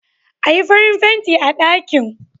Ayi farin fenti a ɗakin